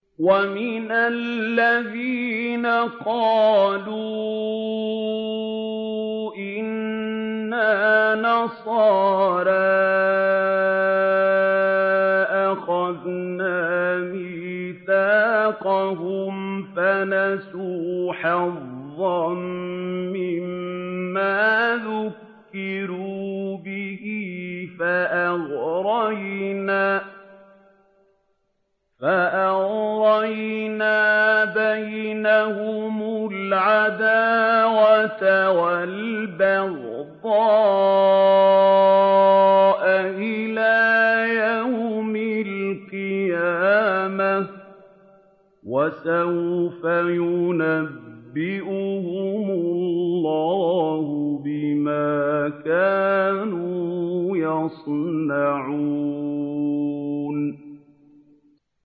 وَمِنَ الَّذِينَ قَالُوا إِنَّا نَصَارَىٰ أَخَذْنَا مِيثَاقَهُمْ فَنَسُوا حَظًّا مِّمَّا ذُكِّرُوا بِهِ فَأَغْرَيْنَا بَيْنَهُمُ الْعَدَاوَةَ وَالْبَغْضَاءَ إِلَىٰ يَوْمِ الْقِيَامَةِ ۚ وَسَوْفَ يُنَبِّئُهُمُ اللَّهُ بِمَا كَانُوا يَصْنَعُونَ